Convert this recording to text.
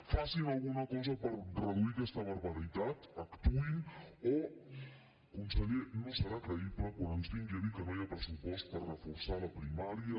facin alguna cosa per reduir aquesta barbaritat actuïn o conseller no serà creïble quan ens vingui a dir que no hi ha pressupost per reforçar la primària